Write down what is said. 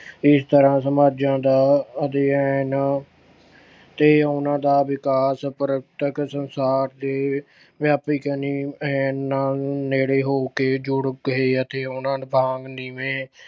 ਇਸ ਤਰ੍ਹਾਂ ਸਮਾਜਾਂ ਦਾ ਅਧਿਐਨ ਤੇ ਉਹਨਾਂ ਦਾ ਵਿਕਾਸ ਪ੍ਰਤੱਖ ਸੰਸਾਰ ਦੇ ਵਿਆਪਕ ਅਨ ਅਹ ਨੇੜੇ ਹੋ ਕੇ ਜੁੜ ਗਏ ਅਤੇ ਉਨ੍ਹਾਂ ਵਾਂਗ ਨੀਵੇਂ